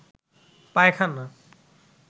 পায়খানা